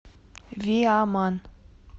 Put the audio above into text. виаман